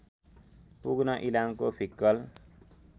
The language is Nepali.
पुग्न इलामको फिक्कल